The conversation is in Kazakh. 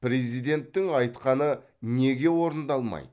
президенттің айтқаны неге орындалмайды